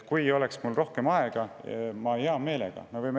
Kui mul oleks rohkem aega, siis ma hea meelega.